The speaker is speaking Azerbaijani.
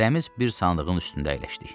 Hərəmiz bir sandığın üstündə əyləşdik.